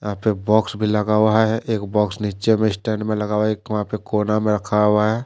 यहां पे बॉक्स भी लगा हुआ है एक बॉक्स नीचे में स्टैंड में लगा हुआ है एक वहां पे कोना में रखा हुआ है।